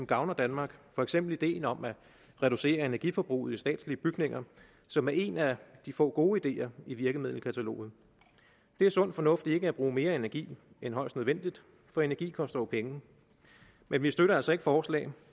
gavner danmark for eksempel ideen om at reducere energiforbruget i de statslige bygninger som er en af de få gode ideer i virkemiddelkataloget det er sund fornuft ikke at bruge mere energi end højst nødvendigt for energi koster jo penge men vi støtter altså ikke forslag